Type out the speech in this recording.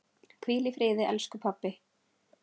Hvíl í friði, elsku pabbi.